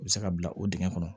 U bɛ se ka bila o dingɛ kɔnɔ